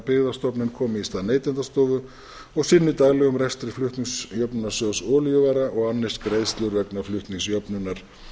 byggðastofnun komi í stað neytendastofu og sinni daglegum rekstri flutningsjöfnunarsjóðs olíuvara og annist greiðslur vegna flutningsjöfnunar